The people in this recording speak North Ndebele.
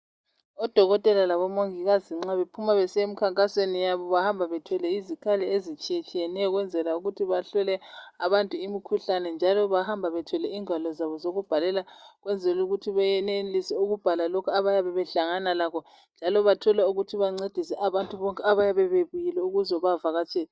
Odokotela labomongikazi nxa bephuma besiya emkhankasweni yabo bahamba bethwele izikhali ezitshiyetshiyeneyo ukwenzela ukuthi bahlole abantu imikhuhlane njalo bahamba bethwele ingwalo zabo zokubhalela ukwenzela ukut benelise ukubhala lokhu abayabe behlangana lakho njalo bathole ukuthi bancedise abantu bonke abayabe bebuyile ukuzobavakatshela